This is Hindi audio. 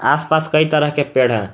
आसपास कई तरह के पेड़ हैं।